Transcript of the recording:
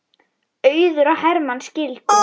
Auður og Hermann skildu.